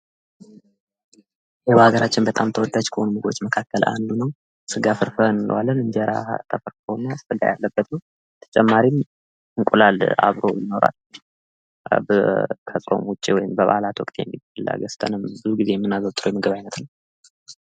በሀገራችን ተወዳች ከሆኑ ምግቦች አንዱ ነው ::ስጋፍርፍር እንለዋለን እንጀራ ተፈርፍሮ እና ስጋ ያለበት እንዱም እንቁአላልም ይስለበት ምግብ ነው :: ከፅሆም ዉጪ እንድሁም በበአለ ወቅት የምናዘወትረው የምግብ አይነት ነው